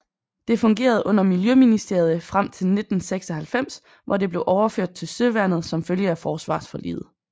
Det fungerede under miljøministeriet frem til 1996 hvor det blev overført til Søværnet som følge af forsvarsforliget